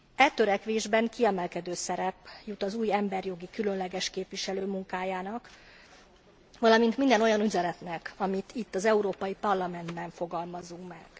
E törekvésben kiemelkedő szerep jut az új emberi jogi különleges képviselő munkájának, valamint minden olyan üzenetnek, amit itt az Európai Parlamentben fogalmazunk meg.